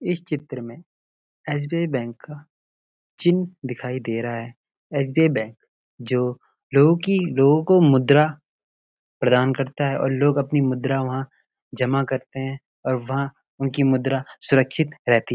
इस चित्र में एस.बी.आई. बैंक का चिह्न दिखाई दे रहा है एस_बी_आई बैंक जो लोगों की लोगों को मुद्रा प्रदान करता है और लोग अपनी मुद्रा वहाँ जमा करते है और वहाँ उनकी मुद्रा सुरक्षित रहती--